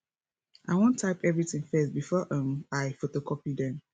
i wan type everything first before um i photocopy dem